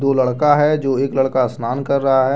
दो लड़का है जो एक लड़का स्नान कर रहा है।